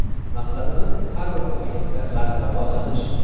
Maqsadimiz har bir o‘yinda g‘alaba qozonish.